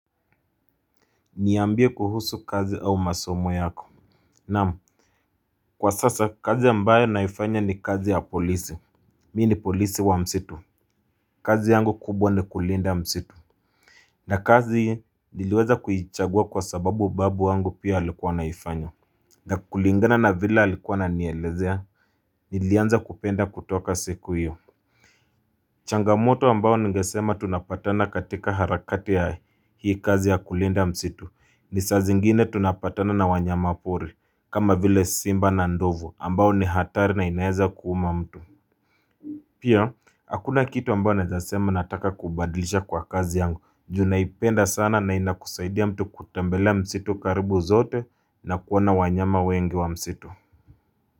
Niambie kuhusu kazi au masomo yako. Naam Kwa sasa kazi ambayo naifanya ni kazi ya polisi. Mi ni polisi wa msitu. Kazi yangu kubwa ni kulinda msitu. Na kazi niliweza kuichagua kwa sababu babu wangu pia alikuwa anaifanya. Na kulingana na vile alikuwa ananielezea. Nilianza kupenda kutoka siku iyo. Changamoto ambayo ningesema tunapatana katika harakati ya hii kazi ya kulinda msitu. Ni saa zingine tunapatana na wanyama pori. Kama vile Simba na Ndovu ambao ni hatari na inaeza kuuma mtu Pia, hakuna kitu ambao nezasema nataka kubadlisha kwa kazi yangu Junaipenda sana na ina kusaidia mtu kutembelea msitu karibu zote na kuona wanyama wengi wa msitu.